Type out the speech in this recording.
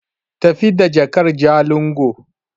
Tafi da jakar Jalingo!